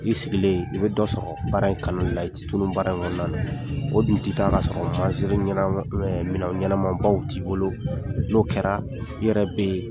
I sigilen , i bɛ dɔ sɔrɔ baara in kanu la, i tɛ tunun baara in kɔnɔna la, o dun tɛ taa ka sɔrɔ mazini ɲɛnamabaw minɛn ɲɛnamanbaw t'i bolo, n'o kɛra , i yɛrɛ bɛ